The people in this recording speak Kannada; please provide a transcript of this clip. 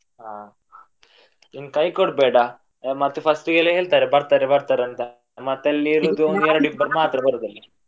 ಹಾ ಇನ್ನು ಕೈ ಕೊಡ್ಬೇಡ. ಮತ್ತೆ first ಇಗೆ ಎಲ್ಲಾ ಹೇಳ್ತಾರೆ ಬರ್ತಾರೆ ಬರ್ತಾರೆ ಅಂತ. ಮತ್ತೆ ಅಲ್ಲಿ ಒಂದೆರಡು ಇಬ್ಬರು ಮಾತ್ರ ಅಲ್ಲಿ.